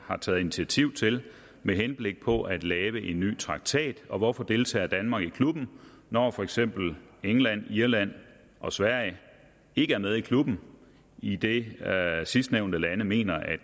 har taget initiativ til med henblik på at lave en ny traktat og hvorfor deltager danmark i klubben når for eksempel england irland og sverige ikke er med i klubben idet sidstnævnte lande mener at